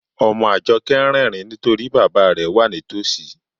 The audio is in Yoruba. Ọmọ Ajọkẹ̀ n rẹrìǹ nítorí bàbá rẹ̀ wà nítósí.